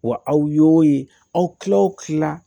Wa aw y'o ye aw tilala o tila